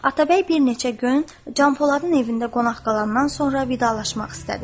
Atabəy bir neçə gün Canpoladın evində qonaq qalandan sonra vidalaşmaq istədi.